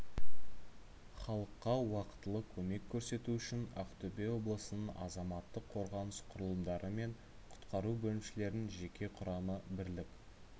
халыққа уақытылы көмек көрсету үшін ақтөбе облысының азаматтық қорғаныс құрылымдары мен құтқару бөлімшелерінің жеке құрамы бірлік